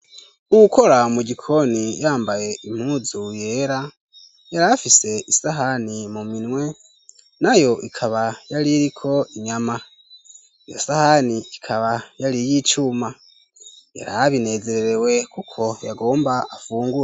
Ukora mu gikoni yambaye impuzu yera yari afise isahani mu minwe na yo ikaba yari iriko inyama iyo sahani ikaba yari y'icuma yariabinezeerewe kuko yagomba afungure.